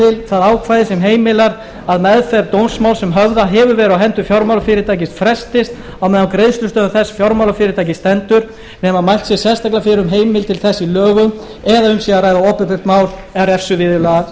til ákvæði sem heimilar að meðferð dómsmáls sem höfðað hefur verið á hendur fjármálafyrirtæki frestist meðan á greiðslustöðvun þess fjármálafyrirtækis stendur nema mælt sé sérstaklega fyrir um heimild til þess í lögum eða um sé að ræða opinbert mál og refsiviðurlaga